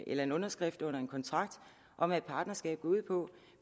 en underskrift på en kontrakt om hvad et partnerskab går ud på